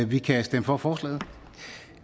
vi kan stemme for forslaget